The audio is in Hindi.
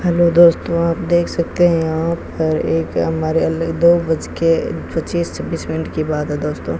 हैलो दोस्तों आप देख सकते हैं यहां पर एक हमारे दो बजके पच्चीस छब्बीश मिनट के बात है दोस्तों --